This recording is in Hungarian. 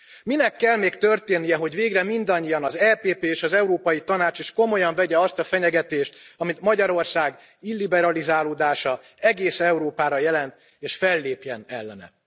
Minek kell még történnie, hogy végre mindannyian, az EPP és az Európai Tanács is komolyan vegye azt a fenyegetést, amit Magyarország illiberalizálódása egész Európára jelent és fellépjen ellene?